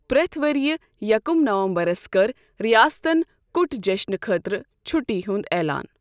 پرٮ۪تھ ؤرۍ یہِ یکم نومبرس کٔر ریاستن کُٹ جشنہٕ خٲطرٕ چھُٹی ہُنٛد اعلان۔